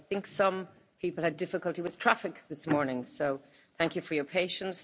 I think some people had difficulty with traffic this morning, so thank you for your patience.